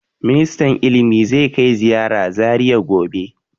Ministan ilimi zai kai ziyara Zariya gobe.